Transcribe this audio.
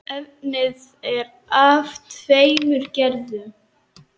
Efnið er af tveimur gerðum.